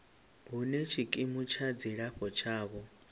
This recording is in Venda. hune tshikimu tsha dzilafho tshavho